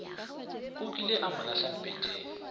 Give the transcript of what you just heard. kukile a mo lahla mpeteng